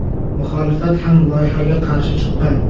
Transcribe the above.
Muxolifat ham loyihaga qarshi chiqqan.